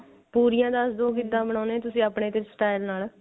ਪੁਰੀਆਂ ਦਸਦੋ ਕਿਦਾਂ ਬਣਾਉਣੇ ਓ ਤੁਸੀਂ ਆਪਣੇ ਕਿਸ style ਨਾਲ